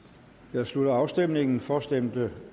nu jeg slutter afstemningen for stemte